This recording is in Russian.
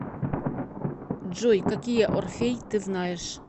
джой какие орфей ты знаешь